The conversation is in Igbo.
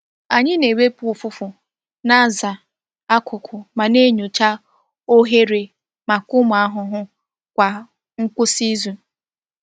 Anyị na-ewepụ ụfụfụ, na-aza akụkụ, ma na-enyocha oghere maka ụmụ ahụhụ kwa ngwụsị izu.